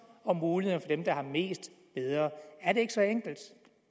og mulighederne for dem der har mest bedre er det ikke så enkelt